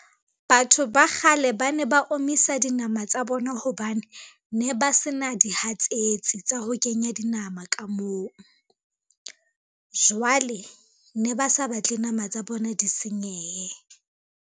Batho ba kgale ba ne ba omisa dinama tsa bona hobane ne ba se na dihatsetsi tsa ho kenya dinama ka moo. Jwale ne ba sa batle nama tsa bona di senyehe.